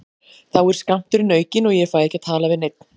Þá er skammturinn aukinn og ég fæ ekki að tala við neinn.